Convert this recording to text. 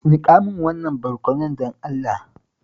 Nika min wannan barkonon, don Allah.